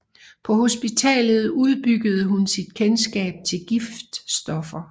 På hospitalet udbyggede hun sit kendskab til giftstoffer